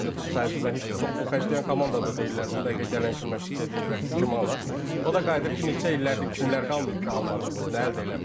Mən də təcrübədən heç də çox pul xərcləyən komanda da deyirlər, o dəqiqə gələn kimi məşqçi deyib bəlkə kimi alaq, o da qayıdır ki, neçə illərdir kimlər qalmayıb ki almadığınız nə əldə eləmisiz?